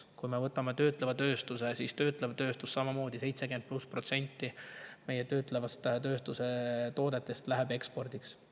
Kui me võtame töötleva tööstuse, siis seal on samamoodi: 76% meie töötleva tööstuse toodetest läheb ekspordiks.